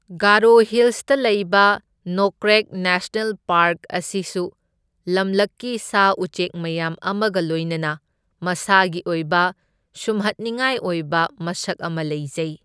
ꯒꯥꯔꯣ ꯍꯤꯜꯁꯇ ꯂꯩꯕ Nokrek national park ꯑꯁꯤꯁꯨ ꯂꯝꯂꯛꯀꯤ ꯁꯥ ꯎꯆꯦꯛ ꯃꯌꯥꯝ ꯑꯃꯒ ꯂꯣꯏꯅꯅ ꯃꯁꯥꯒꯤ ꯑꯣꯏꯕ ꯁꯨꯝꯍꯠꯅꯤꯡꯉꯥꯏ ꯑꯣꯏꯕ ꯃꯁꯛ ꯑꯃ ꯂꯩꯖꯩ꯫